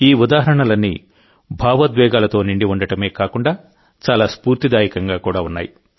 ఈ ఉదాహరణలన్నీ భావోద్వేగాలతో నిండి ఉండడమే కాకుండా చాలా స్ఫూర్తిదాయకంగా ఉన్నాయి